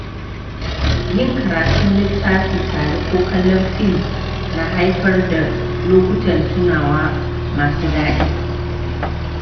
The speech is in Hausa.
Yin karatun littafi tare ko kallon fim na haifar da lokutan tunawa masu daɗi.